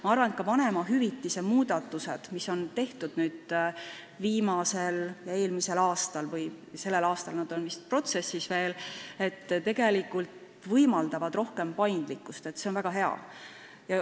Ma arvan, et ka vanemahüvitise maksmise muudatused, mis on tehtud eelmisel või sellel aastal – see protsess vist veel kestab – tegelikult võimaldavad rohkem paindlikkust ja see on väga hea.